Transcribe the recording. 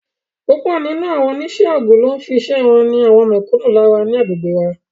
Púpọ̀ nínú àwọn onísẹ́ ogún ló ń fi iṣẹ́ wọn ni mẹ̀kúnnù lára ní agbègbè wa